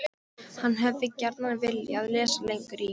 HANN HEFÐI GJARNAN VILJAÐ LESA LENGUR Í